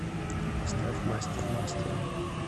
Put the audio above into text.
поставь мастер мастера